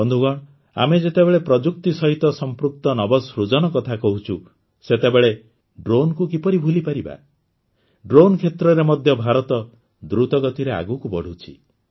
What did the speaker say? ବନ୍ଧୁଗଣ ଆମେ ଯେତେବେଳେ ପ୍ରଯୁକ୍ତି ସହିତ ସଂପୃକ୍ତ ନବସୃଜନ କଥା କହୁଛୁ ସେତେବେଳେ ଡ୍ରୋନ୍କୁ କିପରି ଭୁଲିପାରିବା ଡ୍ରୋନ୍ କ୍ଷେତ୍ରରେ ମଧ୍ୟ ଭାରତ ଦ୍ରୁତ ଗତିରେ ଆଗକୁ ବଢ଼ୁଛି